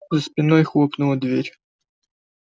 за спиной хлопнула дверь